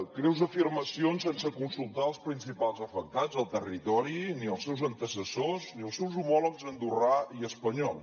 greus afirmacions sense consultar els principals afectats al territori ni els seus antecessors ni els seus homòlegs andorrà i espanyol